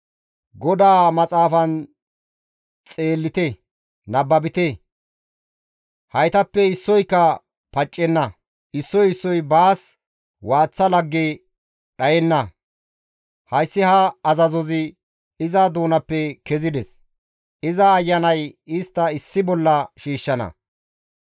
GODAA maxaafan xeellite; nababite. Haytappe issoyka paccenna; issoy issoy baas waaththa lagge dhayenna; hayssi ha azazozi iza doonappe kezides; iza ayanay istta issi bolla shiishshana.